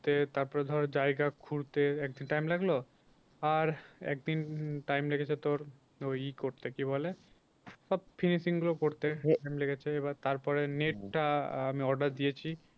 তারপরে ধর জায়গা খুঁড়তে একদিন time লাগলো। আর একদিন time লেগেছে তোর ওই এ করতে কি বলে সব finishing গুলো করতে এবার তারপরে net টা আমি order দিয়েছি।